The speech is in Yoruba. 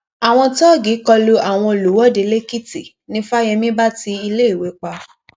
àwọn tóògì kọlu àwọn olùwọde lèkìtì ni fáyemí bá ti iléèwé pa